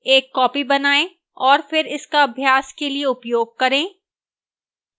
एक copy बनाएं और फिर इसका अभ्यास के लिए उपयोग करें